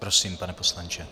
Prosím, pane poslanče.